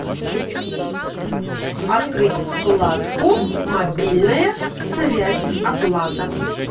открыть вкладку мобильная связь оплата